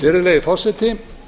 virðulegi forseti